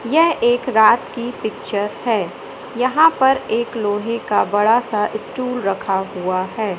यह एक रात की पिक्चर है यहां पर एक लोहे का बड़ा सा स्टूल रखा हुआ है।